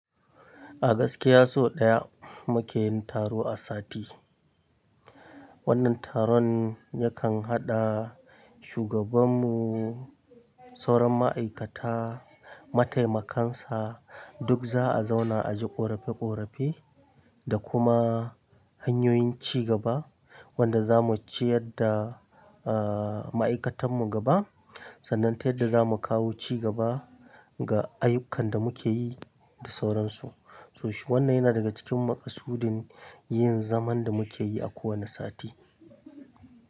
A gaskiya sau ɗaya muke yin taro a sati. Wannan taron yakan haɗa shugabanmu, sauran ma'aikata, mataimakansa duk za a zauna a ji ƙorafe ƙorafe da kuma hanyoyin ci gaba wanda zamu ci yadda, eh, ma'aikatanmu gaba sannan ta yadda zamu kawo cigaba ga ayyukan da muke yi da sauransu. To shi wannan yana daga cikin makasudin yin zaman da muke yi a kowane sati.